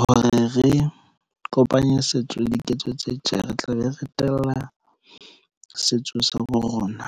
hore re kopanye setso le diketso tse tje re tla be, re tella setso sa bo rona.